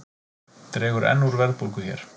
Dregur enn úr verðbólgu hér